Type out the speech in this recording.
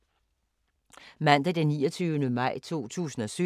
Mandag d. 29. maj 2017